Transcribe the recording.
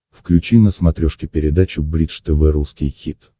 включи на смотрешке передачу бридж тв русский хит